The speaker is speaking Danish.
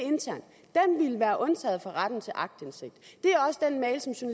ville være undtaget fra retten til aktindsigt det